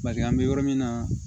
Bari an bɛ yɔrɔ min na